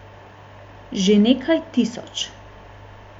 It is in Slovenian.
Že nekaj tisoč.